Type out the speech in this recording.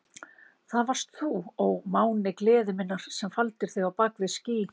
Það varst þú, ó máni gleði minnar, sem faldir þig á bak við ský.